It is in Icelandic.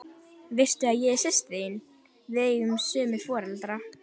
Veistu að ég er systir þín. við eigum sömu foreldra?